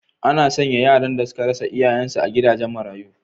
Ana sanya yaran da suka rasa iyayensu a gidajen marayu.